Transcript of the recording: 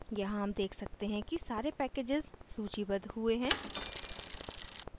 यहाँ हम देख सकते हैं कि सारे packages सूचीबद्ध हुए हैं